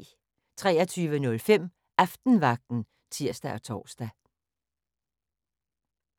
23:05: Aftenvagten (tir-tor)